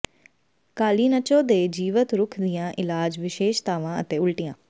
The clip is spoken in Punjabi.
ਕਾਲੀਨਚੋ ਦੇ ਜੀਵਤ ਰੁੱਖ ਦੀਆਂ ਇਲਾਜ ਵਿਸ਼ੇਸ਼ਤਾਵਾਂ ਅਤੇ ਉਲਟੀਆਂ